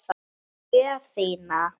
Og gjöf þína.